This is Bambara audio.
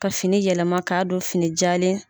Ka fini yɛlɛma ka don fini jalen.